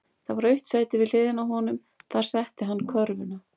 Það var autt sæti við hliðina á honum, þar setti hann körfuna.